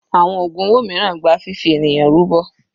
Àwọn ògùn owó mìíràn gba fifi ènìyàn rúbọ.